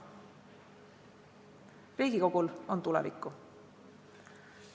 Riigikogul on tulevikku.